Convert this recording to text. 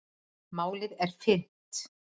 Málið er fyrnt.